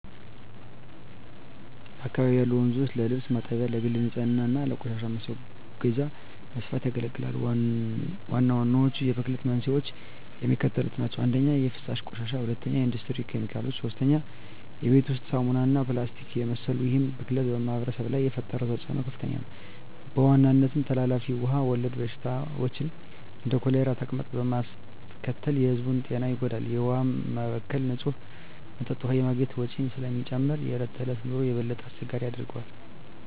በአካባቢው ያሉ ወንዞች ለልብስ ማጠቢያ፣ ለግል ንፅህና እና ለቆሻሻ ማስወገጃ በስፋት ያገለግላሉ። ዋናዎቹ የብክለት መንስኤዎች የሚከተሉት ናቸው - 1) የፍሳሽ ቆሻሻ 2) የኢንዱስትሪ ኬሚካሎች 3) የቤት ውስጥ ሳሙናዎች እና ፕላስቲክን የመሰሉ ይህ ብክለት በማኅበረሰቡ ላይ የፈጠረው ተፅዕኖ ከፍተኛ ነው፤ በዋናነትም ተላላፊ ውሃ ወለድ በሽታዎችን (እንደ ኮሌራና ተቅማጥ) በማስከተል የሕዝቡን ጤና ይጎዳል። የውሃ መበከል ንፁህ መጠጥ ውሃ የማግኘት ወጪን ስለሚጨምር የዕለት ተዕለት ኑሮን የበለጠ አስቸጋሪ ያደርገዋል።